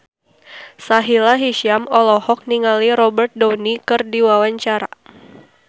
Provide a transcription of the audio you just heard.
Sahila Hisyam olohok ningali Robert Downey keur diwawancara